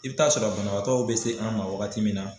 I bɛ taa sɔrɔ banabaatɔw bɛ se an ma wagati min na